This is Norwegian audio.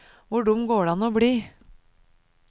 Hvor dum går det an å bli?